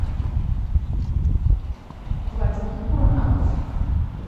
владимир куранаков